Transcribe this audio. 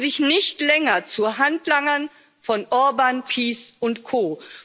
Machen Sie sich nicht länger zu Handlangern von Orbán, PiS und Co.